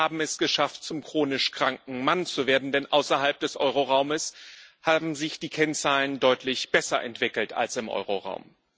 Aber wir haben es geschafft, zum chronisch kranken Mann zu werden, denn außerhalb des Euro Raumes haben sich die Kennzahlen deutlich besser entwickelt als im Euro Raum.